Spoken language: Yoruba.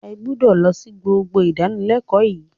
Ẹ gbúdọ̀ lọ sí gbogbo ìdánilẹ́kọ̀ọ́ yín.